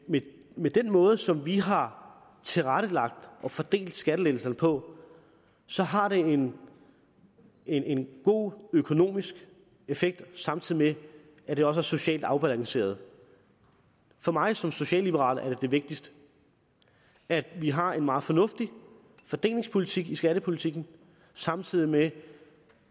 med den måde som vi har tilrettelagt og fordelt skattelettelserne på så har det en en god økonomisk effekt samtidig med at det også er socialt afbalanceret for mig som socialliberal er det vigtigste at vi har en meget fornuftig fordelingspolitik i skattepolitikken samtidig med